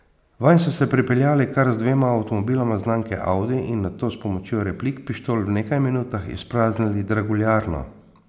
Vanj so se pripeljali kar z dvema avtomobiloma znamke Audi in nato s pomočjo replik pištol v nekaj minutah izpraznili draguljarno.